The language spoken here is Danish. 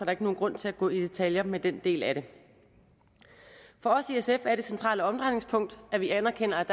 ikke nogen grund til at gå i detaljer med den del af det for os i sf er det centrale omdrejningspunkt at vi anerkender at